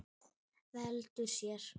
Veltir sér.